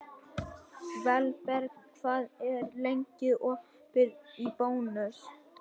Valberg, hvað er lengi opið í Bónus?